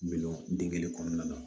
Milo dingɛ kelen kɔnɔna na